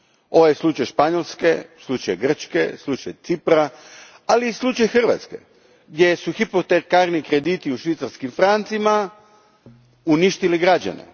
Ovo je slučaj Španjolske, slučaj Grčke, slučaj Cipra, ali i slučaj Hrvatske, gdje su hipotekarni krediti u švicarskim francima uništili građane.